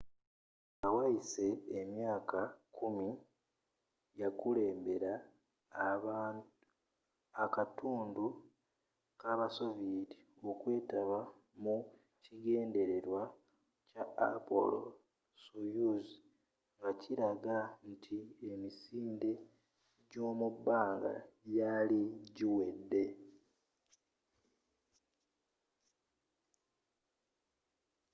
nga wayise emyaka kkumi yakulembera abakatundu kabasoviyeeti okwetaba mu kigendererwa kya apollo-soyuz ngakilaga nti emisinde gyomubbanga gyali giwedde